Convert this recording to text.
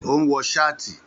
Ó ń wọ sáàtì